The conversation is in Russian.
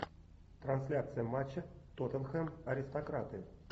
трансляция матча тоттенхэм аристократы